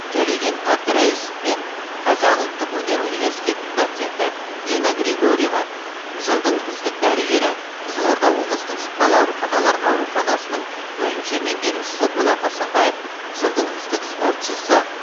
төлеген әбдірайысов пен қазақ ұлттық өнер университетінің доценті нина григорьева жылдың үздік дәрігері қызылорда облыстық жұқпалы ауруханалар ауруханасының бөлімше меңгерушісі болат асанбаев жылдың үздік спортшысы